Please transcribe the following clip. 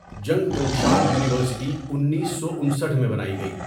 جنگ گنگشان یونییورسٹی انیسو انسٹھ میں بنأی گیئ َ.